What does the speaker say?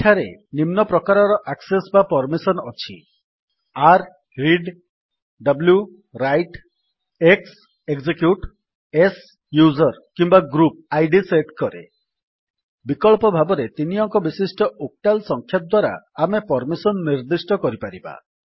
ଏଠାରେ ନିମ୍ନ ପ୍ରକାରର ଆକ୍ସେସ୍ ବା ପର୍ମିସନ୍ ଅଛି r read w write x execute s user କିମ୍ୱା ଗ୍ରୁପ୍ ଆଇଡି ସେଟ୍ କରେ ବିକଳ୍ପ ଭାବରେ ତିନି ଅଙ୍କବିଶିଷ୍ଟ ଓକ୍ଟାଲ୍ ସଂଖ୍ୟା ଦ୍ୱାରା ଆମେ ପର୍ମିସନ୍ ନିର୍ଦ୍ଦିଷ୍ଟ କରିପାରିବା